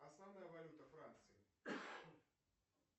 основная валюта франции